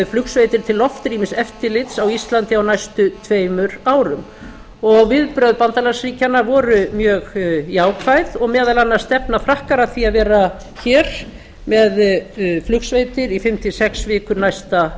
flugsveitir til loftrýmiseftirlits á íslandi á næstu tveimur árum viðbrögð bandalagsríkjanna voru mjög jákvæð og meðal annars stefna frakkar að því að vera hér með flugsveitir í fimm til sex vikur næsta